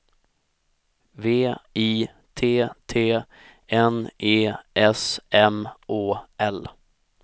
V I T T N E S M Å L